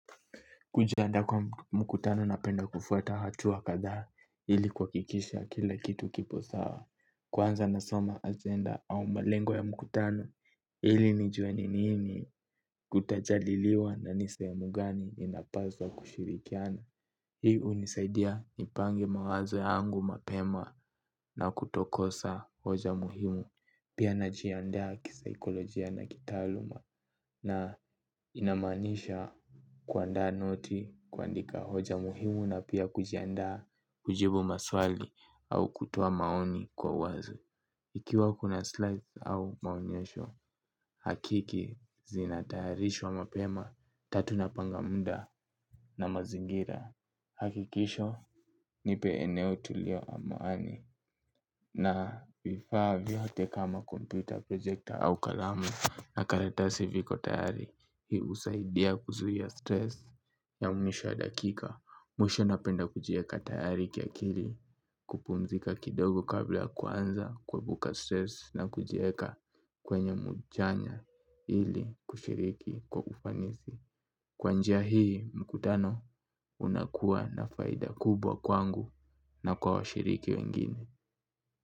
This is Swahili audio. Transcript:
Kujianda kwa mkutano napenda kufuata hatua kadha ili kuwakikisha kila kitu kipo sawa. Kwanza nasoma ajenda au malengo ya mkutano ili nijuwe nini kutajaliliwa na ni sehemu gani inapaswa kushirikiana. Hii unisaidia nipange mawazo yangu mapema na kutokosa hoja muhimu. Pia najiandaa kisikolojia na kitaaluma na inamaanisha kuandaa noti, kuandika hoja muhimu na pia kujiandaa kujibu maswali au kutoa maoni kwa wazo. Ikiwa kuna slides au maonyesho, hakiki zinatayarishwa mapema, tatu napanga muda na mazingira. Hakikisho nipe eneo tulio au mahali na vifaa vyote kama kompyuta projekta au kalamu. Na karatasi viko tayari hii usaidia kuzuhia stress ya mwisho wa dakika. Mwisho napenda kujieka tayari kiakili kupumzika kidogo kabla kuanza kuebuka stress na kujieka kwenye mujanya ili kushiriki kwa ufanisi. Kwa nja hii mkutano unakuwa na faida kubwa kwangu na kwa washiriki wengine.